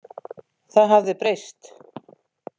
Það hafði breyst.